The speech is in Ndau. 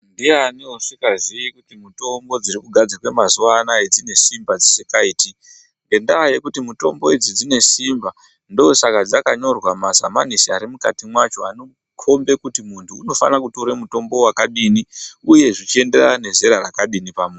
Ndiani usikazii kuti mutombo dzirikugadzirwa mazuva anaya dzinesimba risikaiti. Ngendaa yekuti mitombo idzi dzinesimba ndosaka dzakanyorwa mumasamanisi arimukati mwacho anokombe kuti muntu unofane kutora mutombo vakadini, uye zvichienderana nezera rakadini pamuntu.